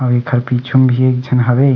अउर एकर पिछु में भी एक झन हवे।